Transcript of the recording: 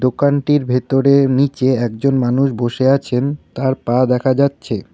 দোকানটির ভেতরে ও নীচে একজন মানুষ বসে আছেন তার পা দেখা যাচ্ছে।